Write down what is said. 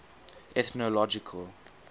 ethnological